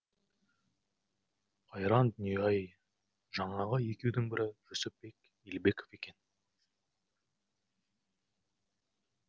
қайран дүние ай жаңағы екеудің бірі жүсіпбек елебеков екен